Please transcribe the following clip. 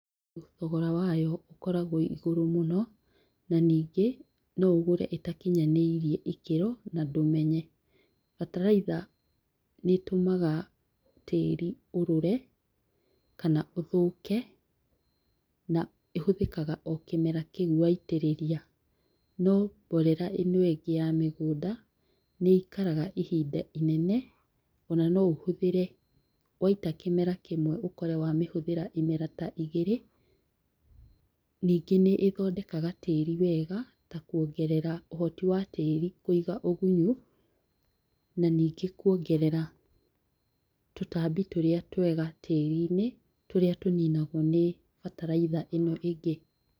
Thogora wayo ũkoragwo igũrũ mũno, na ningĩ no ũgũre ĩtakinyanĩirie ikĩro na ndũmenye. Bataraitha nĩĩtũmaga tĩri ũrũre kana ũthũke, na ĩhũthĩkaga o kĩmera kĩu waitĩrĩria, no mborera ĩno ĩngĩ ya mĩgũnda nĩikaraga ihinda inene ona no ũhũthĩre waita kĩmera kĩmwe ũkore wa mĩhũthira ta imera igĩrĩ, ningĩ nĩ ĩthondekaga tĩri wega ta kuongerea ũhoti wa tĩri kũiga ũgunyu, na ningĩ kuongerera tũtambi tũria twega tĩrinĩ tũria tũninagwo nĩ bataraitha ĩno ĩngĩ.